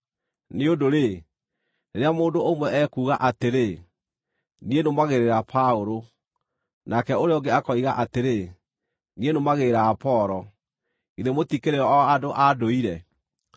Nĩ ũndũ-rĩ, rĩrĩa mũndũ ũmwe ekuuga atĩrĩ, “Niĩ nũmagĩrĩra Paũlũ,” nake ũrĩa ũngĩ akoiga atĩrĩ, “Niĩ nũmagĩrĩra Apolo,” githĩ mũtikĩrĩ o andũ a ndũire?